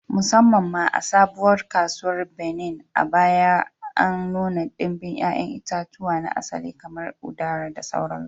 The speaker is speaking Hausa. Musamman ma, a Sabuwar Kasuwar Benin, a baya an nuna ɗimbin 'ya'yan itatuwa na asali kamar udara da sauransu